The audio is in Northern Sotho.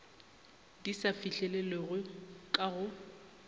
di sa fihlelelwego ka go